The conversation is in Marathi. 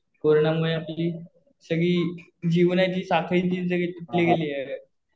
कोरोना मुळे आपली सगळी जीवनाची साखळी तीच सगळी तुटल्या गेली आहे.